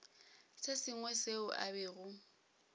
se sengwe seo a bego